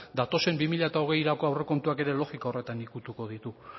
datozen bi mila hogeirako aurrekontuak ere logika horretan ukituko ditu